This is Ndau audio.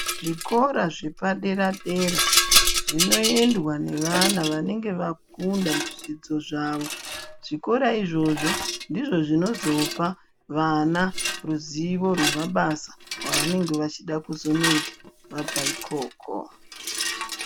Zvikora zvepaderadera zvinoendwa nevana vanenge vakunda muzvidzidzo zvavo. Zvikora izvozvo ndizvo zvinozopa vana ruzivo rwemabasa avanenge vachida kuzonoita vabva ikoko.